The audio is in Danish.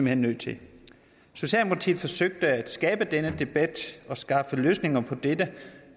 hen nødt til socialdemokratiet forsøgte at skabe denne debat og skaffe løsninger på dette